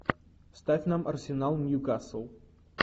ставь нам арсенал ньюкасл